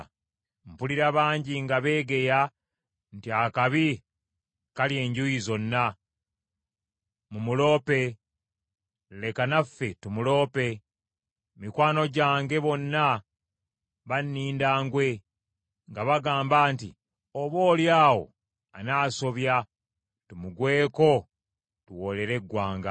Mpulira bangi nga beegeya nti, “Akabi kali enjuuyi zonna. Mumuloope. Leka naffe tumuloope.” Mikwano gyange bonna banninda ngwe, nga bagamba nti, “Oboolyawo anaasobya, tumugweko tuwoolere eggwanga.”